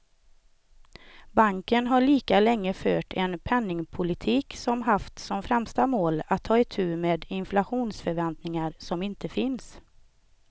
Banken har lika länge fört en penningpolitik som haft som främsta mål att ta itu med inflationsförväntningar som inte finns.